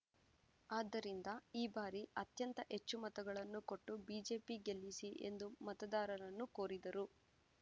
ಆದ್ದರಿಂದ ಈ ಬಾರಿ ಅತ್ಯಂತ ಹೆಚ್ಚು ಮತಗಳನ್ನು ಕೊಟ್ಟು ಬಿಜೆಪಿ ಗೆಲ್ಲಿಸಿ ಎಂದು ಮತದಾರರನ್ನು ಕೋರಿದರು